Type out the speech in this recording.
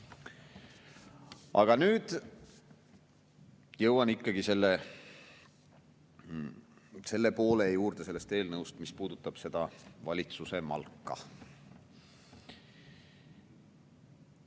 Aga nüüd jõuan ikkagi selle poole juurde sellest eelnõust, mis puudutab seda valitsuse malka.